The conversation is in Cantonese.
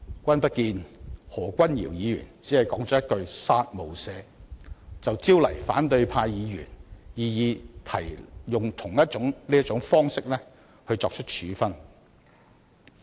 君不見何君堯議員只是說了一句"殺無赦"，便招來反對派議員試圖利用同一種方式作出處分？